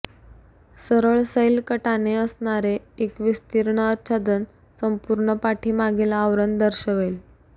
सरळ सैल कटाने असणारे एक विस्तीर्ण आच्छादन संपूर्ण पाठीमागील आवरण दर्शवेल